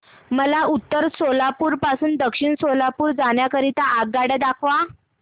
मला उत्तर सोलापूर पासून दक्षिण सोलापूर जाण्या करीता आगगाड्या दाखवा